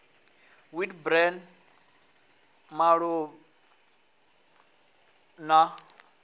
wheat bran maḓabula a na